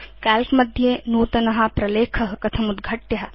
काल्क मध्ये नूतन प्रलेख कथम् उद्घाटव्य